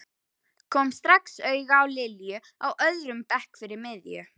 Kom strax auga á Lilju á öðrum bekk fyrir miðju.